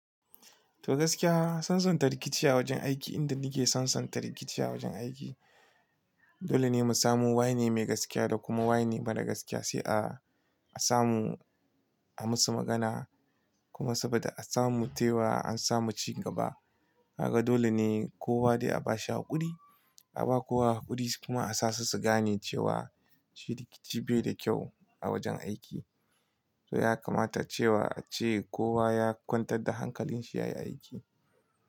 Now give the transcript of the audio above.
To gaskiya, sansanta rikici a wajen aiki inda nike sansanta rikici a wajen aiki. Dole ne mu samu wai ne mai gaskiya da kuma wai ne mara gaskiya sai a, a samu a musu magana kuma saboda a samu tewa an samu cin gaba. Haka dole ne kowa dai a bashi haƙuri, a ba kowa haƙuri kuma a sa su su gane cewa ci rikici bai da kyau a wajen aiki. To ya kamata cewa ace kowa ya kwantar da hankalin shi yayi aiki.